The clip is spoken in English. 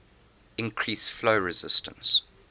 increase flow resistance